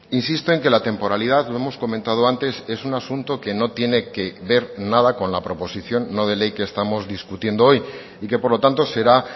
insisto en que la temporalidad lo hemos comentado antes es un asunto que no tiene que ver nada con la proposición no de ley que estamos discutiendo hoy y que por lo tanto será